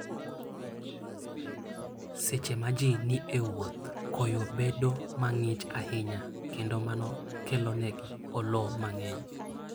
Seche ma ji ni e wuoth, koyo bedo mang'ich ahinya, kendo mano kelonegi olo mang'eny.